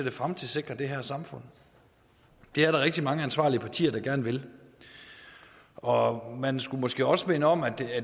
at fremtidssikre det her samfund det er der rigtig mange ansvarlige partier der gerne vil og man skulle måske også minde om at